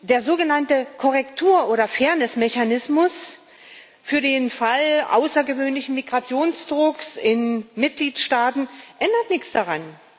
Der sogenannte Korrektur oder Fairness Mechanismus für den Fall von außergewöhnlichem Migrationsdruck in den Mitgliedstaaten ändert nichts daran.